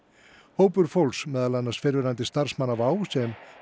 hópur fólks meðal annars fyrrverandi starfsmanna WOW sem